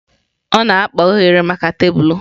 Ọ na-akpa oghere maka tebụl.